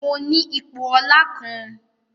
Mọ ní ipò ọla kán